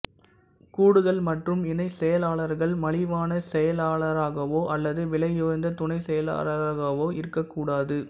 கூடுதல் மற்றும் இணைச் செயலாளர்கள் மலிவான செயலாளர்களாகவோ அல்லது விலையுயர்ந்த துணை செயலாளர்களாகவோ இருக்கக்கூடாது